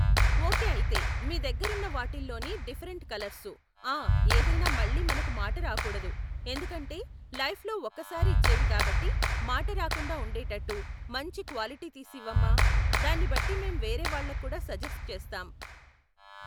Okay అయితే, మీ దగ్గరున్న వాటిల్లోనే డిఫరెంట్ కలర్సు ఆ ఏదైనా మళ్ళీ మనకు మాట రాకూడదు, ఎందుకంటే లైఫ్ లో ఒకసారి ఇచ్చేవి కాబట్టి మాట రాకుండా ఉండేటట్టు మంచి క్వాలిటీ తీసివ్వమ్మా, దాన్నిబట్టి మేం వేరే వాళ్ళక్కూడా సజెస్ట్ చేస్తాం.